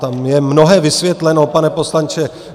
Tam je mnohé vysvětleno, pane poslanče...